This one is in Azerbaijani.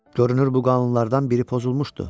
Görünür bu qanunlardan biri pozulmuşdu.